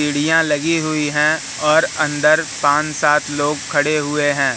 सीढ़ियां लगी हुई है और अंदर पांच सात लोग खड़े हुए हैं।